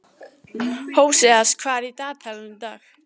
Hóseas, hvað er í dagatalinu í dag?